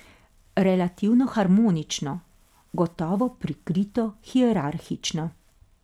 Relativno harmonično, gotovo prikrito hierarhično.